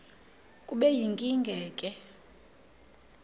kube yinkinge ke